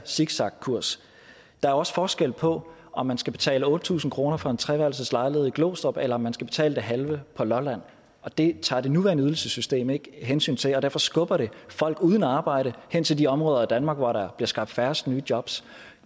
zigzagkurs der er også forskel på om man skal betale otte tusind kroner for en treværelses lejlighed i glostrup eller om man skal betale det halve på lolland og det tager det nuværende ydelsessystem ikke hensyn til og derfor skubber det folk uden arbejde hen til de områder danmark hvor der bliver skabt færrest nye jobs